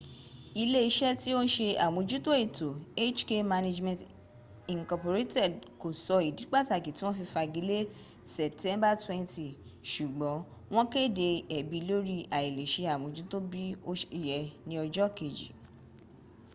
ile ise ti o n se amojuto eto hk management inc ko so idi pataki ti won fi fagi le september 20 sugbon won kede ebi lori ailese amojuto bi o se ye ni ojo keji